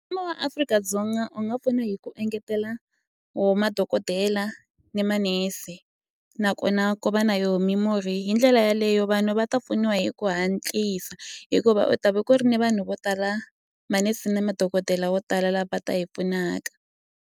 Mfumo wa Afrika-Dzonga u nga pfuna hi ku engetela wo madokodela ni manese nakona ko va na yo mimurhi hi ndlela yaleyo vanhu va ta pfuniwa hi ku hatlisa hikuva u ta va ku ri ni vanhu vo tala manese na madokodela wo tala la va ta hi pfunaka.